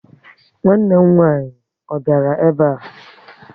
Nwanne m nwaanyị a biara ebe a?